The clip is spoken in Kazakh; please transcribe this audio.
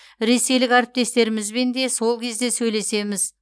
ресейлік әріптестерімізбен де сол кезде сөйлесеміз